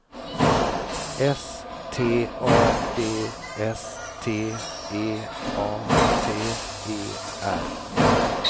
S T A D S T E A T E R